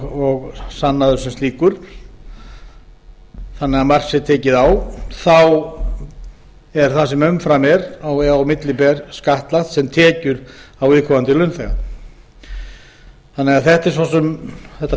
og sannaður sem slíkur þannig að mark sé tekið á þá er það sem á milli ber skattlagt sem tekjur á viðkomandi launþega þannig að þetta